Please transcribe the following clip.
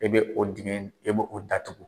E bɛ o dingɛ e bɛ o datugu.